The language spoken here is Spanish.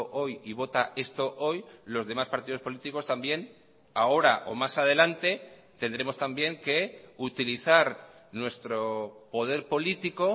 hoy y vota esto hoy los demás partidos políticos también ahora o más adelante tendremos también que utilizar nuestro poder político